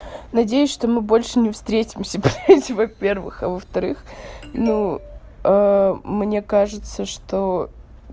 надеюсь что мы больше не встретимся ха-ха блядь во-первых а во-вторых ну мне кажется что